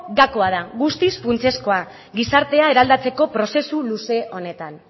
gakoa da guztiz funtsezkoa gizartea eraldatzeko prozesu luze honetan